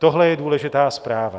Tohle je důležitá zpráva.